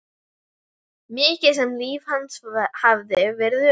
Mikið sem líf hans hafði verið ömurlegt.